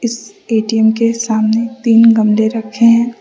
इस ए_टी_एम के सामने तीन गमले रखे है।